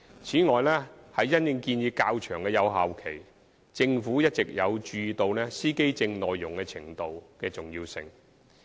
此外，因應建議較長的有效期，政府一直有注意到司機證耐用程度的重要性。